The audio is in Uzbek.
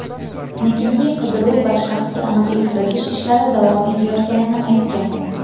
negaki qidiruv va shaxsga aniqlik kiritish ishlari davom etayotganini aytgan.